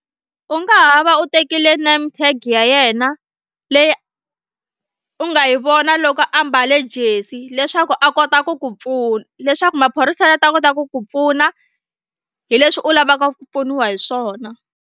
U nga ha va u tekile name tag ya yena leyi u nga yi vona loko a mbale jesi leswaku a kota ku ku pfuna leswaku maphorisa ya ta kota ku ku pfuna hi leswi u lavaka ku pfuniwa hi swona.